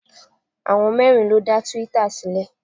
Àwọn mẹ́rin ló dá twitter sílẹ̀.